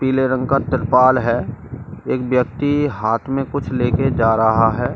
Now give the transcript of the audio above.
पीले रंग का त्रिपाल है एक व्यक्ति हाथ में कुछ ले के जा रहा है।